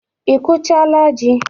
Ị kụchaala ji?